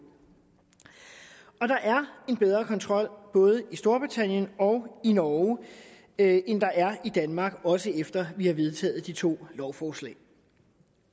og der er en bedre kontrol både i storbritannien og i norge end end der er i danmark også efter at vi har vedtaget de to lovforslag